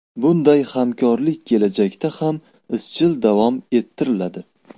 Bunday hamkorlik kelajakda ham izchil davom ettiriladi.